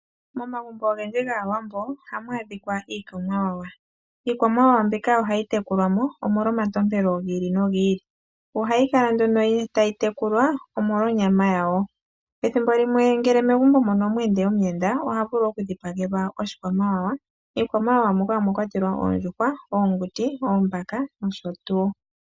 Momagumbo ogendji gaawambo ohamu adhikwa iikwamawawa. Iikwamawawa mbika ohayi tekulwa mo omolwa omatompelo gi ili nogi ili. Ohayi kala nduno tayi tekulwa omolwa onyama yawo, ethimbo limwe ngele megumbo mono omwa ende omuyenda ohavulu okudhipagelwa oshikwamawawa. Miikwamawawa muka omwa kwatelwa oondjuhwa, oonguti, oombaka nosho tuu.